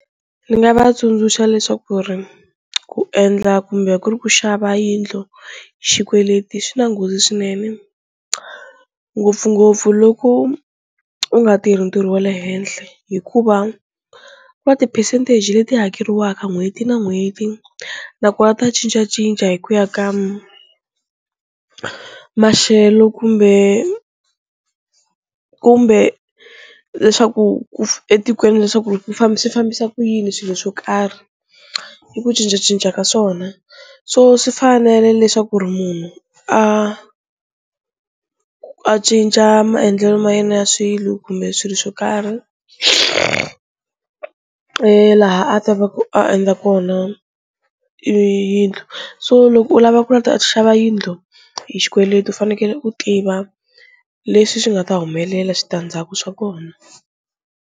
Ni nga va tsundzuxa leswaku ri ku endla kumbe ku ri ku xava yindlu xikweleti xi na nghozi swinene ngopfungopfu loko u nga tirhi ntirho wa le henhle hikuva ku na ti-percentage leti hakeriwaka n'hweti na n'hweti nakona ta cincacinca hi ku ya ka maxelo kumbe kumbe leswaku etikweni leswaku famba swi fambisa ku yini swilo swo karhi, i ku cincacinca ka swona, so swi fanele leswaku ri munhu a a cinca maendlelo ma yena ya swilo kumbe swilo swo karhi laha a ta va ku a endla kona yindlu, so loko u lava ku ta xava yindlu hi xikweleti u fanekele u tiva leswi swi nga ta humelela switandzhaku swa kona.